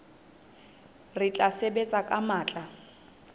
re tla sebetsa ka matla